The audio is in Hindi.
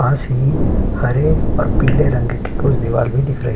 पास ही हरे और पीले रंग की कुछ दीवाल भी दिख रही --